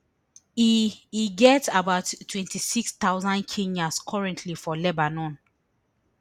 e e get about twenty-six thousand kenyans currently for lebanon